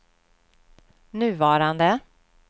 nuvarande